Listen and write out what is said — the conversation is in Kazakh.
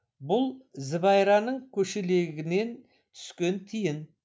бұл зібайраның көшелегінен түскен тиын